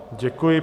Děkuji.